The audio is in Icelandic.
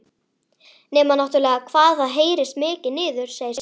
Nema náttúrlega hvað það heyrist mikið niður, segir Sigga.